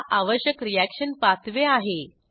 हा आवश्यक reaction pathway आहे